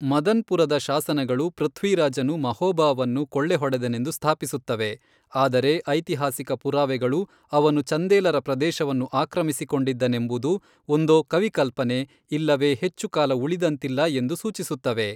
ಮದನ್ಪುರದ ಶಾಸನಗಳು ಪೃಥ್ವಿರಾಜನು ಮಹೋಬಾವನ್ನು ಕೊಳ್ಳೆಹೊಡೆದನೆಂದು ಸ್ಥಾಪಿಸುತ್ತವೆ, ಆದರೆ ಐತಿಹಾಸಿಕ ಪುರಾವೆಗಳು ಅವನು ಚಂದೇಲರ ಪ್ರದೇಶವನ್ನು ಆಕ್ರಮಿಸಿಕೊಂಡಿದ್ದನೆಂಬುದು ಒಂದೋ ಕವಿಕಲ್ಪನೆ ಇಲ್ಲವೇ ಹೆಚ್ಚು ಕಾಲ ಉಳಿದಂತಿಲ್ಲ ಎಂದು ಸೂಚಿಸುತ್ತವೆ.